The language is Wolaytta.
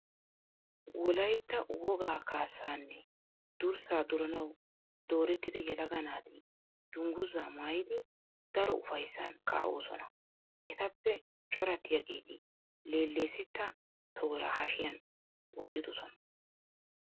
Wolaytta wogaa kaassaa nne durssaa duranawu doorettida yelaga naati dungguzaa maayidi daro ufayssan kaa'osona. Etappe corattiyageeti leelleesetta tooraa hashiyan wottidosona.